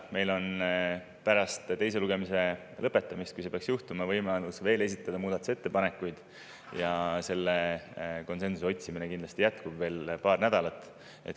Meil on pärast teise lugemise lõpetamist, kui nii peaks juhtuma, võimalus esitada muudatusettepanekuid ja konsensuse otsimine jätkub kindlasti veel paar nädalat.